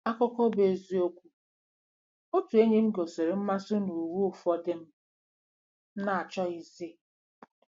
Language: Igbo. Akụkọ bụ́ eziokwu: “ Otu enyi m gosiri mmasị n'uwe ụfọdụ m na-achọghịzị.